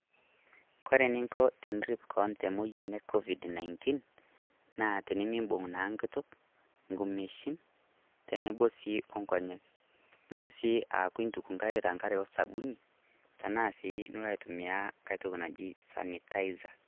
Kore neiko tenirrip koon te moyian e Covid-19, naa tinimiibung' naa nkuutuk, nkumeshini, teneboo sii o nkonyek. Niloo sii aaku eituk nkaaik to nkaare o sabuni tana sii niloo aitumia nkai ntoki najii sanitizer.